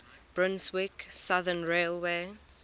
brunswick southern railway